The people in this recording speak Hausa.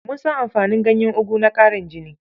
Mun san amfanin ganyen ogu na ƙarin jini